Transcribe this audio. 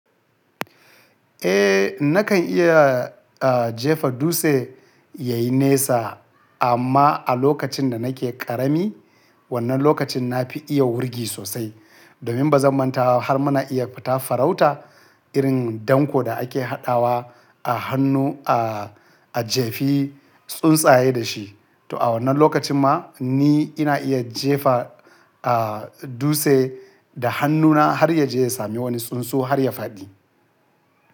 Eh, nakan iya, ah, jefa dutse yayi nesa amma a lokacin da nake ƙarami, wannan lokacin na fi iya wurgi sosai. Domin ba zan manta har muna iya fita farauta irin danko da ake haɗawa a hannu a, a jefi tsuntsaye da shi. To a wannan lokacin ma ni ina iya jefa, ah, dutse da hannuna har ya je ya sami wani tsunsu har ya faɗi.